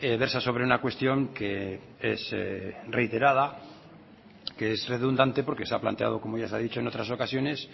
versa sobre una cuestión que es reiterada que es redundante porque se ha planteado como ya se ha dicho en otras ocasiones